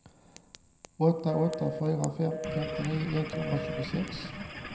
åtta åtta fyra fem femtionio etthundratjugosex